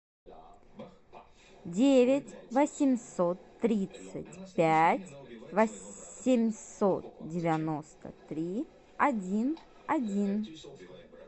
девять восемьсот тридцать пять восемьсот девяносто три один один